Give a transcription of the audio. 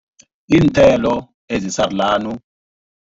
Iinthelo ezisarulani.